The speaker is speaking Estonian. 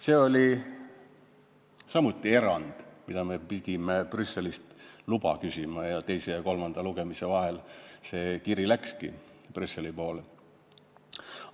See oli samuti erand, milleks me pidime Brüsselist luba küsima, ja teise ja kolmanda lugemise vahel see kiri läkski Brüsseli poole teele.